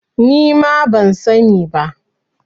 Ni ma ban sa ni ba